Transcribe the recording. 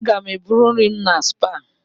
Aga m eburu nri m na Supa.